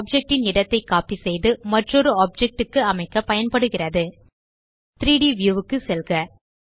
ஒரு ஆப்ஜெக்ட் ன் இடத்தை கோப்பி செய்து மற்றொரு ஆப்ஜெக்ட் க்கு அமைக்க பயன்படுகிறது 3ட் வியூ க்கு செல்க